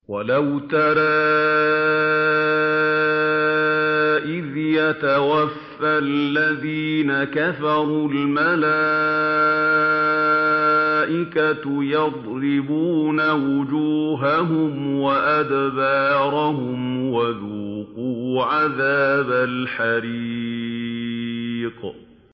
وَلَوْ تَرَىٰ إِذْ يَتَوَفَّى الَّذِينَ كَفَرُوا ۙ الْمَلَائِكَةُ يَضْرِبُونَ وُجُوهَهُمْ وَأَدْبَارَهُمْ وَذُوقُوا عَذَابَ الْحَرِيقِ